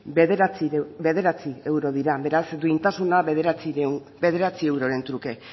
bederatzi euro dira beraz duintasuna bederatzi euroren truke